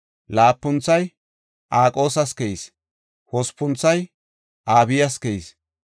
Laapunthoy Aqoosas keyis; Hospunthoy Abiyas keyis.